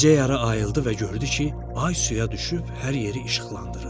Gecə yarı ayıldı və gördü ki, ay suya düşüb hər yeri işıqlandırır.